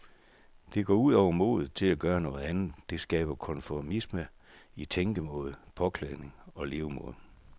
Det går ud over modet til at gøre noget andet, det skaber konformisme, i tænkemåde, påklædning og levemåde.